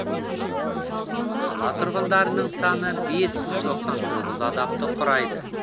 қала тұрғындарының саны бес мың тоқсан тоғыз адамды құрайды